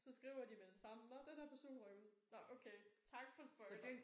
Så skriver de med det samme nåh den her person røg ud nåh okay tak for spoiler